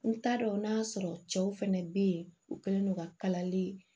N t'a dɔn n'a sɔrɔ cɛw fɛnɛ be yen u kɛlen don ka kalali